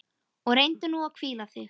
Og reyndu nú að hvíla þig.